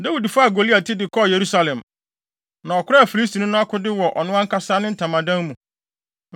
Dawid faa Goliat ti de kɔɔ Yerusalem, na ɔkoraa Filistini no akode wɔ ɔno ankasa ne ntamadan mu.